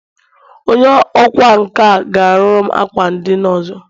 Onye ọkwá nkà ga-arụru m ákwà ndina ọzọ